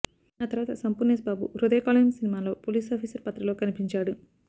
ఆ తర్వాత సంపూర్ణేశ్బాబు హృదయ కాలేయం సినిమాలో పోలీసాఫీసర్ పాత్రలో కనిపించాడు